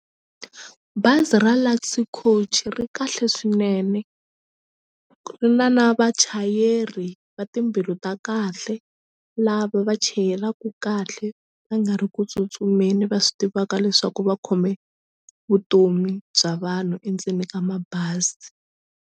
Bazi ra Luxy Coach ri kahle swinene ri na na vachayeri va timbilu ta kahle lava va chayelaku kahle va nga ri ku tsutsumeni va swi tivaka leswaku va khome vutomi bya vanhu endzeni ka mabazi.